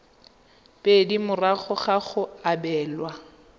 pedi morago ga go abelwa